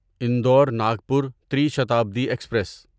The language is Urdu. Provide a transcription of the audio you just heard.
انڈور ناگپور تری شتابدی ایکسپریس